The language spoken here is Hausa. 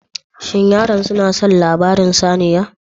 Shin yaran suna son labarin saniya da kaji?